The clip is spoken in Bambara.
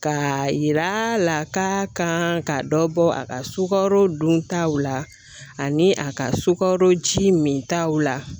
Ka yira la ka kan ka dɔ bɔ a ka sukaro dontaw la ani a ka sukaro ji min taw la